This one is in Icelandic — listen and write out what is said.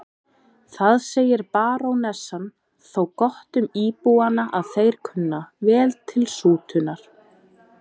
Það segir barónessan þó gott um íbúana að þeir kunna vel til sútunar.